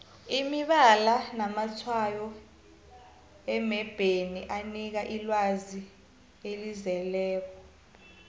imibala namatshwayo emebheni anikela ilwazi elizeleko